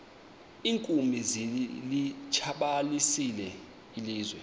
iinkumbi zilitshabalalisile ilizwe